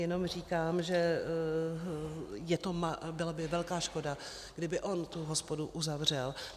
Jenom říkám, že by byla velká škoda, kdyby on tu hospodu uzavřel.